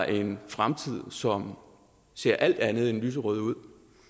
en fremtid som ser alt andet end lyserød ud